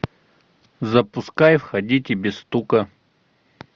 запускай входите без стука